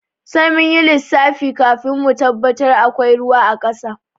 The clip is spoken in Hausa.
Sai munyi lissafi kafin mu tabbatar akwai ruwa a ƙasa.